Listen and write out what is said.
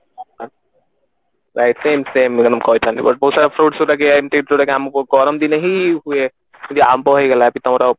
ମୁଁ କହିଥାନ୍ତି but ବହୁତ ସାରା fruits ଏମିତି ଜଉଟା କି ଆମକୁ ଗରମ ଦିନେ ହି ହୁଏ ଆମ୍ବ ହେଇଗଲା ଏମତି ତମର